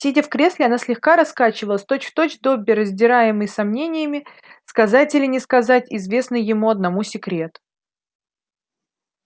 сидя в кресле она слегка раскачивалась точь-в-точь добби раздираемый сомнениями сказать или не сказать известный ему одному секрет